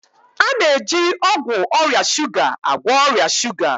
A na-eji ọgwụ ọrịa shuga agwọ ọrịa shuga